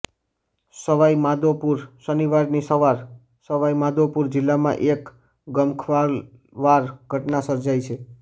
સવાઇમાધોપુરઃ શનિવારની સવાર સવાઇમાધોપુર જીલ્લામાં એક ગમખ્વાર ઘટના સર્જાઇ છે